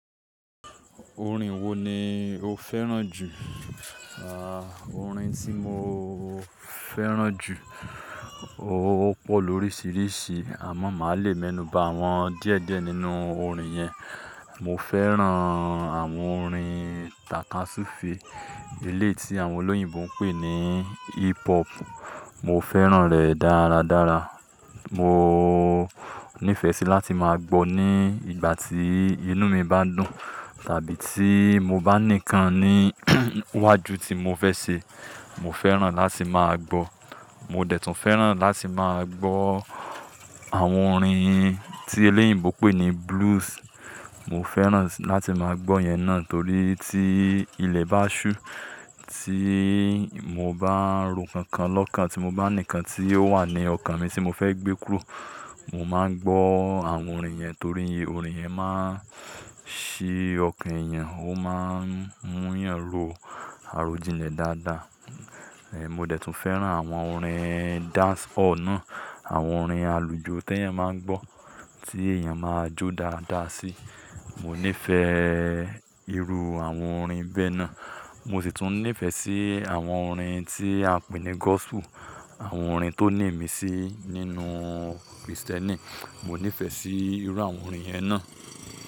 Orin wo ni o fẹ́ràn jù? Aah, Orin tí mo fẹ́ràn jù, ó pọ̀ lóríṣiríṣi àmọ́ màá le mẹ́nù bá awọn díẹ̀díẹ̀ nínú orin yẹn. Mo fẹ́ràn àwọn orin takasufe eléyìí àwọn olóyìnbo ń pè ní hip hop, mo fẹ́ràn rẹ̀ dáradára. Mo nífẹ̀ẹ́ sí láti máa gbọ́ ní ìgbà tí inú mi bá ń dùn tàbí tí mo bá ní nǹkan ní iwájú tí mo fẹ́ ṣe, mo fẹ́ràn láti máa gbọ́. Mo dẹ̀ tún fẹ́ràn láti máa gbọ́ àwọn orin tí olóyìnbo pè ní blues. Mo fẹ́ràn láti máa gbọ́ yẹn náà torí tí ilẹ̀ bá ṣú, tí mo bá ń ro kankan lọ́kàn, tí mo bá ní nǹkan tí ó wà ní ọkàn mi tí mo fẹ́ gbé kúrò, mo máa ń gbọ́ àwọn orin yẹn torí orin yẹn máa ń ṣí ọkàn èèyàn, ó máa ń mú ènìyàn ro àròjinlẹ̀ dáadáa. Mo dẹ̀ tún fẹ́ràn àwọn orin dance hall náà, àwọn orin àlùjọ tí èèyàn máa ń gbọ́, tí èèyàn máa jó dáadáa sí. Mo nífẹ̀ẹ́ irú àwọn orin bẹ́ẹ̀ náà. Mo sì tún nífẹ̀ẹ́ sí àwọn orin tí a pè ní gospel, àwọn orin tó ní ìmi sí nínú kirisiteni mo nífẹ̀ẹ́ sí irú àwọn orin yẹn náà.